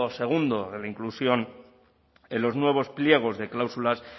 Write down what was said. segundo de la inclusión en los nuevos pliegos de cláusulas